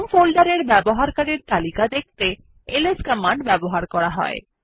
home ফোল্ডারের ব্যবহারকারীদের তালিকা দেখতে এলএস কমান্ড ব্যবহার করা হয়